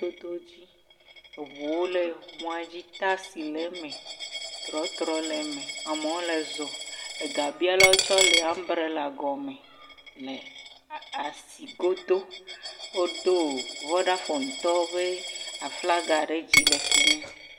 Dodo dz. Eŋuwo le mɔa dzi taxi le eme, trɔtrɔ le eme. Amewo le zɔ, ega bialawo tsɛ le ambrela gɔme le asi go do. Wo do Vodafonetɔwo ƒe aflaga le fimi.